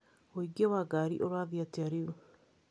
ũingĩ wa ngari ũrathiĩ atĩa rĩu?